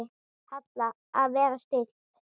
Halla: Að vera stillt.